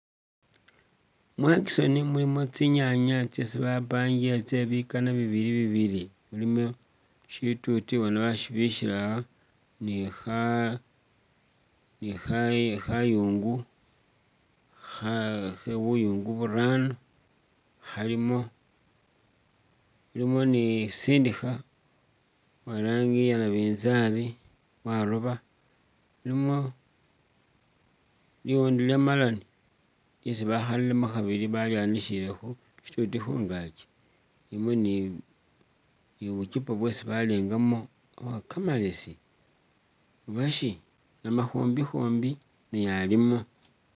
Mu auction mulimu tsinyaanya tsesi bapangile tse bikana bibili bibili. Mulimo shituti bona bashibikhile aha ni kha, ni kha, ni khayungu, kha, buyuungu burano khalimo, mulimo ni musindikhe uwe i'rangi ya nabinzaali waroba. Mulimo liwondo lya melon lyesi bakhalilemu khabili balyanishile khu shituuti khungaaki, mulimo ni bucyupa bwesi balengamu kamalesi uba shi namakhombi-khombi naye alimu.